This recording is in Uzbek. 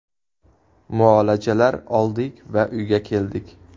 Muolajalar oldik va uyga keldik.